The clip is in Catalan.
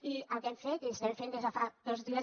i el que hem fet i estem fent des de fa dos dies